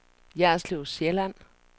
Jerslev Sjælland